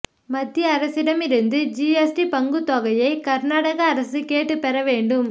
மத்திய அரசிடமிருந்து ஜிஎஸ்டி பங்குத்தொகையை கா்நாடக அரசு கேட்டுப் பெற வேண்டும்